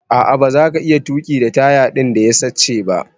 A'a baza ka iya tuki da taya din da ya sache ba.